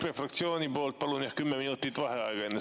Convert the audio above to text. EKRE fraktsiooni poolt palun 10 minutit vaheaega.